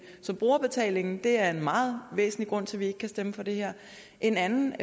så brugerbetalingen er en meget væsentlig grund til at vi ikke kan stemme for det her en anden